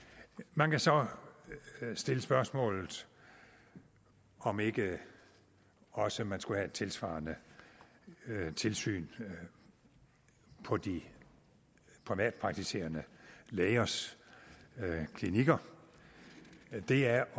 man kan så stille spørgsmålet om ikke også man skulle have et tilsvarende tilsyn på de privatpraktiserende lægers klinikker det er